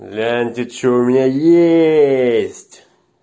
гляньте что у меня есть